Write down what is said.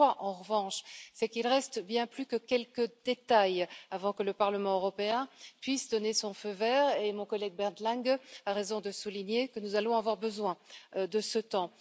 Ce que je crois, en revanche, c'est qu'il reste bien plus que quelques détails à régler avant que le Parlement européen puisse donner son feu vert, et mon collègue Bernd Lange a raison de souligner que nous allons avoir besoin de ce temps.